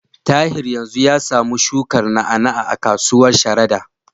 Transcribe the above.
Tahir yanzu ya samu shukar na'a-na'a a kasuwar Sharada.